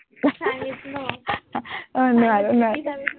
এৰ নোৱাৰো নোৱাৰো